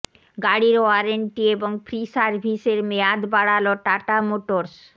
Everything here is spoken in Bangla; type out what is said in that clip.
গাড়ির ওয়ারেন্টি এবং ফ্রি সার্ভিসের মেয়াদ বাড়াল টাটা মোটরস